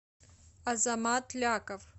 азамат ляков